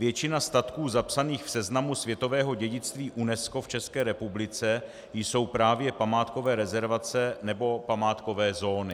Většina statků zapsaných v seznamu světového dědictví UNESCO v České republice jsou právě památkové rezervace nebo památkové zóny.